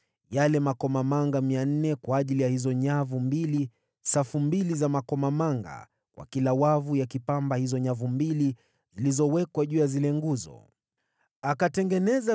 yale makomamanga 400 kwa ajili ya hizo nyavu mbili (safu mbili za makomamanga kwa kila wavu yakipamba hayo mataji mawili yenye umbo la bakuli juu ya hizo nguzo);